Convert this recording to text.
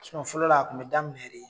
fɔlɔla a kun bi daminɛ de